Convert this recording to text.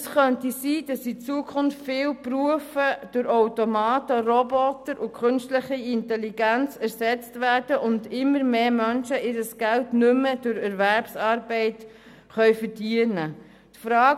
Es könnte sein, dass in Zukunft in vielen Berufe Menschen durch Automaten, Roboter und künstliche Intelligenz ersetzt werden und immer mehr Menschen ihr Geld nicht mehr durch Erwerbsarbeit verdienen können.